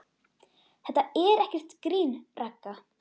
Þetta er ekkert grín, Ragga.